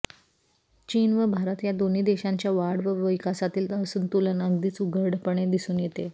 चीन व भारत या दोन्ही देशांच्या वाढ व विकासातील असंतुलन अगदीच उघडपणे दिसून येते